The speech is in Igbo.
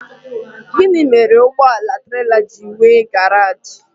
Gịnị mere na ụgbọala trela ji enwe garaj?